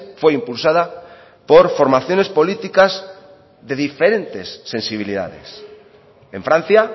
fue impulsada por formaciones políticas de diferentes sensibilidades en francia